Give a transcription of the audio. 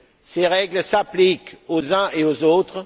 Ses règles s'appliquent aux uns et aux autres.